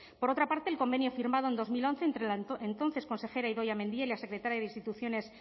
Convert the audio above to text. por otra parte el convenio firmado en dos mil once entre la entonces consejera idoia mendia y la secretaria de instituciones